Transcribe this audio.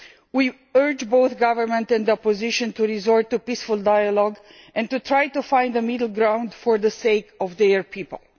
We urge both the government and the opposition to turn to peaceful dialogue and to try to find a middle ground for the sake of their people.